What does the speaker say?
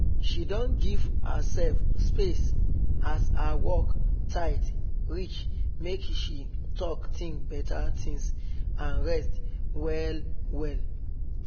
she don give herself space as her work tight reach make she talk think better things and rest well well